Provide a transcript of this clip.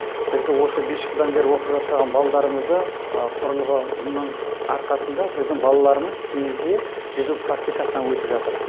бізді осы бес жылдан бері оқып жатырған балдарымызды құрылғының арқасында біздің балаларымыз теңізде жүзу практикасынан өтіп жатыр